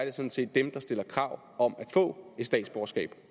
er sådan set dem der stiller krav om at få et statsborgerskab